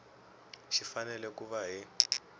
xi fanele ku va hi